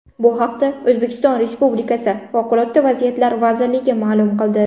Bu haqda O‘zbekiston Respublikasi favqulodda vaziyatlar vazirligi ma’lum qildi .